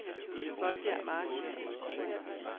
Molbjerg Mark